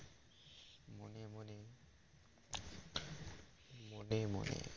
মনে মনে